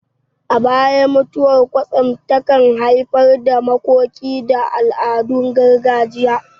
A baya, mutuwar kwatsam takan haifar da makoki da al'adun gargajiya.